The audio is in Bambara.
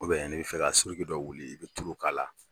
n'i b'a fɛ ka dɔ wuli i bɛ tulu k'a la